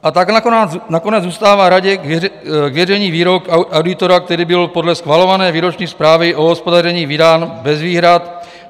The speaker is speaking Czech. A tak nakonec zůstává Radě k věření výrok auditora, který byl podle schvalované výroční zprávy o hospodaření vydán bez výhrad.